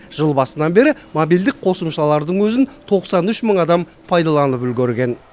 жыл басынан бері мобильдік қосымшалардың өзін тоқсан үш мың адам пайдаланып үлгерген